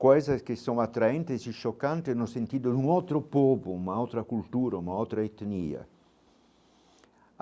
coisas que são atraentes e chocantes no sentido de um outro povo, uma outra cultura, uma outra etnia.